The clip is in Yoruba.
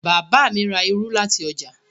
Bàbá mi ra irú láti ọjà.